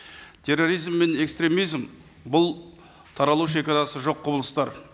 терроризм мен экстремизм бұл таралу шегарасы жоқ құбылыстар